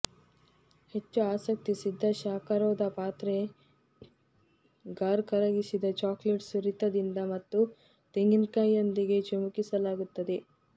ಹೆಚ್ಚು ಆಸಕ್ತಿ ಸಿದ್ಧ ಶಾಖರೋಧ ಪಾತ್ರೆ ಫಾರ್ ಕರಗಿಸಿದ ಚಾಕೊಲೇಟ್ ಸುರಿತದಿಂದ ಮತ್ತು ತೆಂಗಿನಕಾಯಿಯೊಂದಿಗೆ ಚಿಮುಕಿಸಲಾಗುತ್ತದೆ